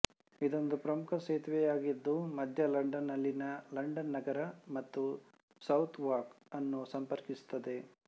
ಇದೊಂದು ಪ್ರಮುಖ ಸೇತುವೆಯಾಗಿದ್ದು ಮಧ್ಯ ಲಂಡನ್ ನಲ್ಲಿನ ಲಂಡನ್ ನಗರ ಮತ್ತು ಸೌತ್ ವಾರ್ಕ್ ಅನ್ನು ಸಂಪರ್ಕಿಸುತ್ತದೆ